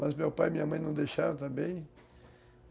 Mas meu pai e minha mãe não deixaram também.